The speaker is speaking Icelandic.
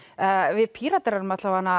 við Píratar erum